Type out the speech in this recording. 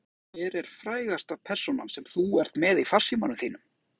Settin hans Ása Hver er frægasta persónan sem þú ert með í farsímanum þínum?